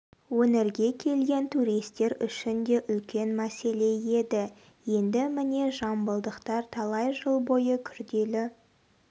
өңірге келген туристер үшін де үлкен мәселе еді енді міне жамбылдықтар талай жыл бойы күрделі